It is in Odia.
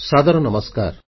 ସାଦର ନମସ୍କାର